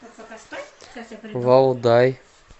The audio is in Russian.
валдай